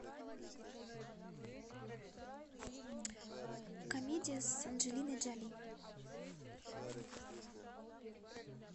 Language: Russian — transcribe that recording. комедия с анджелиной джоли